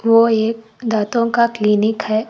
वो एक दांतों का क्लीनिक है।